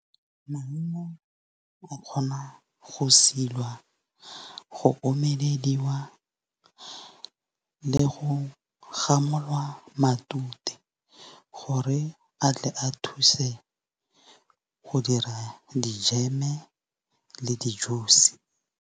Maungo o kgona go silwa, go omelediwa le go gamolwa matute, gore a tle a thuse go dira dijeme le di-juice.